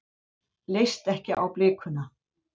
Leist ekki á blikuna.